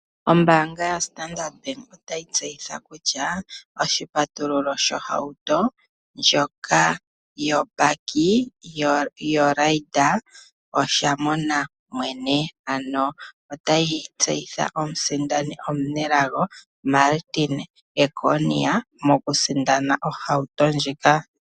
Ombaanga yo Standard otayi tseyitha kutya oshipatululo sho hauto ndjoka yobakie o Raider osha mona mwene ,ano otayi tseyitha omusindani omunelago Martin Ekonia moku sindana ohauto ndjika.